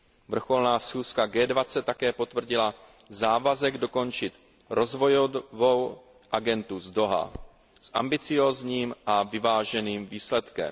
Vrcholná schůzka G20 také potvrdila závazek dokončit Rozvojovou agendu z Dauhá s ambiciózním a vyváženým výsledkem.